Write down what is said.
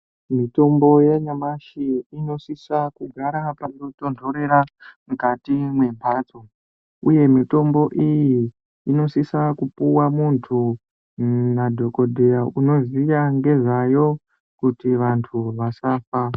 Mitombo yanyamashi inosisa kugara panotondorera mwukati mwembatso uye mitombo iyi inosisa kupiwa muntu nadhokodheya unoziya ngezvayo kuti vantu vasafa.